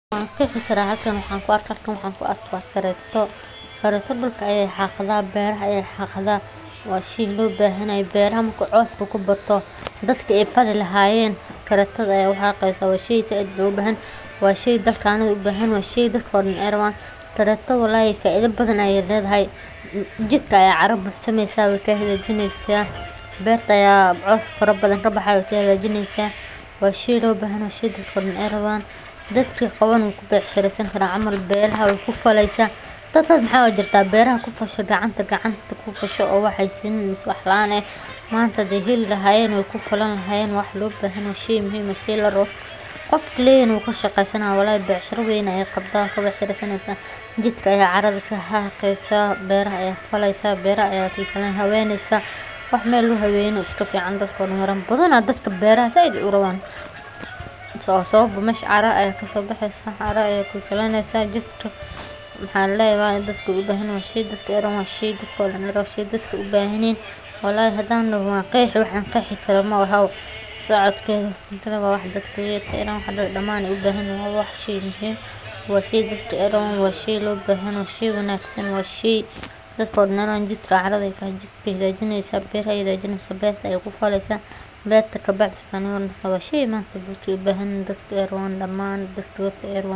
Waqtiga goosashada galleyda waa xilli muhiim u ah beeraleyda daalka, gaar ahaan kuwa ku nool dhulka barwaaqada ah ee ku habboon koritaanka galleyda sida gobolka Shabeellaha Hoose. Galleyda, oo ka mid ah dalagyada ugu muhiimsan ee cuntada iyo dhaqaalaha, waxay bislaataa kadib muddo dhowr bilood ah oo koritaan iyo daryeel joogto ah leh. Beeraleydu waxay bilaabaan goosashada marka ay caleemaha galleydu huruud noqdaan oo miraha gudaha koobka ay buuxsamaan una ekaadaan kuwo bisil. Goosashada waxaa lagu sameeyaa si taxaddar leh iyadoo la adeegsanayo qalab fudud .